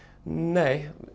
nei